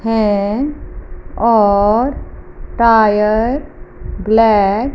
है और tyre black --